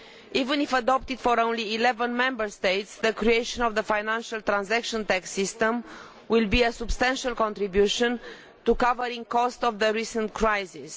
Even if it is adopted for only 11 Member States, the creation of the financial transaction tax system will make a substantial contribution to covering the costs of the recent crisis.